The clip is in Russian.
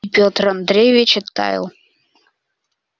и петр андреевич оттаял